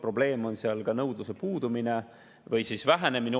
Probleem on seal ka nõudluse puudumine või oluline vähenemine.